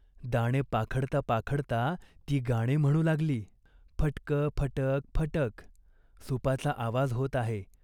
दाणे पाखडता पाखडता ती गाणे म्हणू लागली. "फटकं फटक फटक !" सुपाचा आवाज होत आहे.